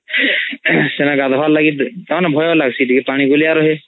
ସେନେ ଗାଧୁଆ ର୍ ଲାଗି ଭୟ ଲାଗ୍ ଟିକେ ପାଣି ଗୁଲିଆ ରୁହେ